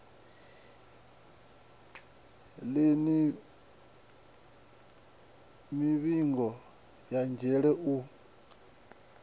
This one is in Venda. lini mivhigo i anzela u